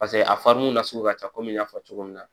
Paseke a fariun na sugu ka ca kɔmi n y'a fɔ cogo min na